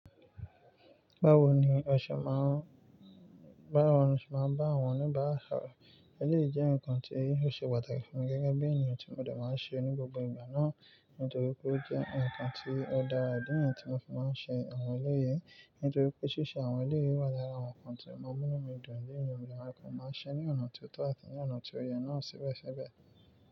Báwo ni ẹ̀ṣẹ̀ máa ń, báwo ni ẹ̀ṣẹ̀ máa ń bá àwọn oníbàrárà sọrọ. Eléyìí jẹ́ nǹkan tí ó ṣe pàtàkì fún mi gẹ́gẹ́ bí ènìyàn tí mo dà máa ń ṣe ní gbogbo ìgbà náà, nítorí pé ó jẹ́ nǹkan tí ó dára. Idi niyẹ́n tí mo fún máa ń ṣe àwọn eléyìí, nítorí pé ṣíṣe àwọn eléyìí wà lára àwọn nǹkan ti o maa munú mi dùn léèyí, mo de máa ṣẹ ní ọ̀nà tó tọ́ àti ní ọ̀nà tó yẹ náà síbẹ̀síbẹ̀